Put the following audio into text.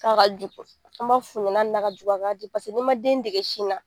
K'a ka jugu, an b'a f'u ɲɛna hali n'a ka jugu u k'a di n'i ma den dege sin na